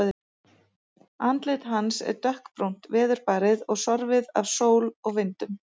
Andlit hans er dökkbrúnt, veðurbarið og sorfið af sól og vindum.